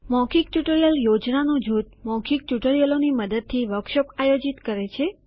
મૌખિક ટ્યુટોરીયલ યોજનાનું જૂથ મૌખિક ટ્યુટોરિયલોની મદદથી વર્કશોપ આયોજિત કરે છે